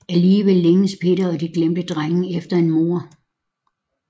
Alligevel længes Peter og De glemte Drenge efter en mor